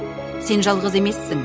сен жалғыз емессің